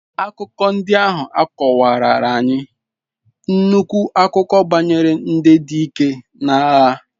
Akụkọ ndị ahụ akọwarara anyị nnukwu akụkọ banyere ndị dike na agha.